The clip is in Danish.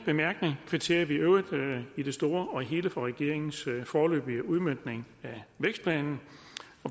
bemærkninger kvitterer vi i øvrigt i det store og hele for regeringens foreløbige udmøntning af vækstplanen